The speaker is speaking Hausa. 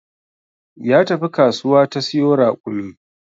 Ya tafi kasuwa ta siyo raƙumi